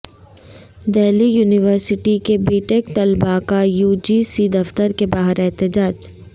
Delhi university کے B tech طلباء کا یو جی سی دفتر کے باہر احتجاج